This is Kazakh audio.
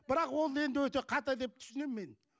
бірақ ол енді өте қате деп түсінемін мен